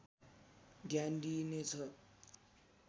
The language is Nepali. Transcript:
ध्यान दिइनेछ